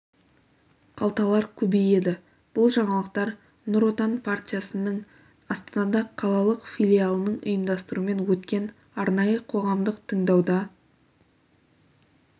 қалталар көбейеді бұл жаңалықтар нұр отан партиясының астана қалалық филиалының ұйымдастыруымен өткен арнайы қоғамдық тыңдауда